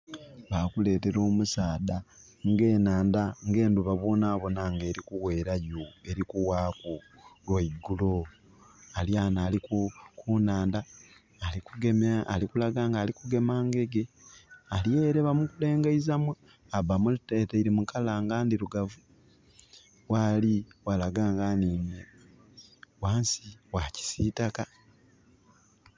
Bakuleetera omusaadha, ng'enandha, ng'endhuba bwonabona nga ng'eri kuweerayo, eli kuwaaku lwa igulo. Ali ghano ali ku, kunandha, ali kugema, ali kulaga nga ali kugema ngege. Aliere bamulengeizamu, bamuteleile mu colour nga ndirugavu. Waali walaga nga aniinye wansi wa kisiitaka.